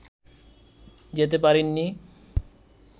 যেতে পারেননি